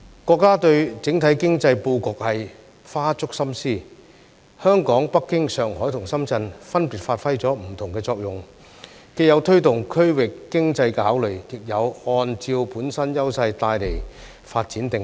國家對整體經濟布局花足心思，香港、北京、上海和深圳分別發揮了不同的作用，既有推動區域經濟的考慮，亦有按照本身優勢帶來發展定位。